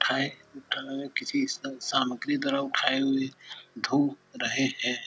उठाए उठाए किसी सामग्री द्वारा उठाए हुए धो रहे है।